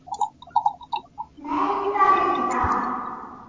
Nei, það er ekki það.